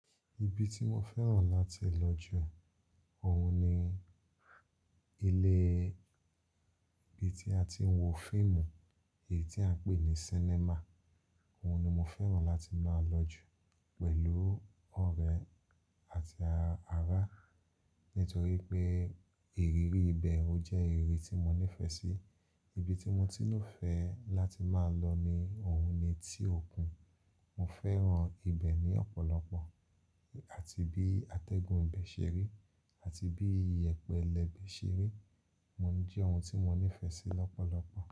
Ibi tí mo fẹ́ràn láti lọ jù óun ni ilé ibi tí a ti ń wo fíìmù, èyí tí à ń pè ní cinema. Òun ni mo fẹ́ràn láti máa lọ jù pẹ̀lú ọ̀rẹ́ àti ará. Nítorí pé ìrírí ibẹ̀ ó jẹ́ ìrírí tí mo nífẹ̀ẹ́ sí. Ibi tí mo ti ló fẹ́ láti máa lọ ni òun ni ti òkun. Mo fẹ́ràn ibẹ̀ ní ọ̀pọ̀lọpọ̀ àti bí atẹ́gùn ibẹ̀ ṣe rí àti bí iyẹ̀pẹ̀ ilẹ̀ ibẹ̀ ṣe rí. Mo ń je òun tí mo nífẹ̀ẹ́ sí lọ́pọ̀lọpọ̀.